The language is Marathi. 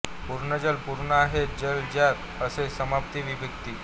पूर्णजल पूर्ण आहेत जल ज्यात असे सप्तमी विभक्ती